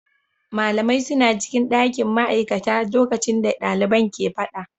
Malamai suna cikin dakin ma'aikata lokacin da daliban ke fada.